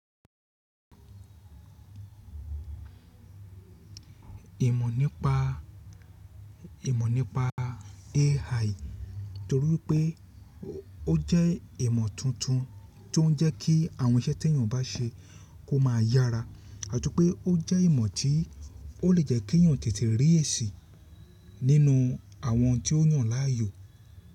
Ìmọ̀ nípa ìmọ̀ nípa AI torí pé ó jẹ́ ìmọ̀ tuntun tí ó ń jẹ́ kí àwọn iṣẹ́ tí èèyàn bá ṣe kó máa yára àti pé ó jẹ́ ìmọ̀ tí ó lè jẹ́ kí èèyàn tètè rí èsì nínú àwọn tí ó yàn láàyò.